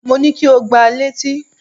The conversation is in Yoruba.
Mo ní kí o gba létí!